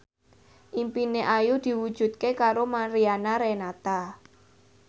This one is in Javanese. impine Ayu diwujudke karo Mariana Renata